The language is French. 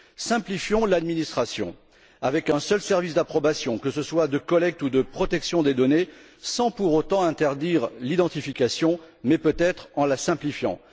Simplifions l'administration avec un seul service d'approbation, que ce soit de collecte ou de protection des données, sans pour autant interdire l'identification mais, peut être, en la simplifiant.